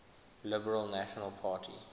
liberal national party